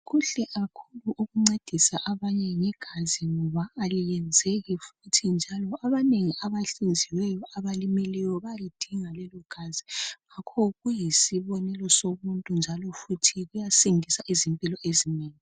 Kuhle kakhulu ukuncedisa abanye ngegazi ngoba aliyenzeki futhi njalo abanengi abahlinziweyo abalimeleyo bayalidinga lelo gazi ngakho kuyisibonelo somuntu njalo futhi kuyasindisa izimpilo ezinengi.